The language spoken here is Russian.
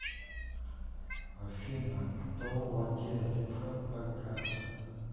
афина кто владеет фпк